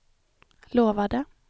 lovade